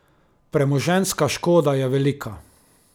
Premoženjska škoda je velika.